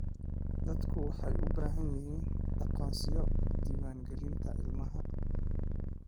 Dadku waxay u baahan yihiin aqoonsiyo diwaan gelinta ilmaha.